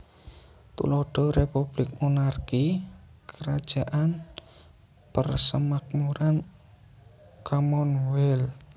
Tuladha Republik Monarki / Krajaan Persemakmuran Commonwealth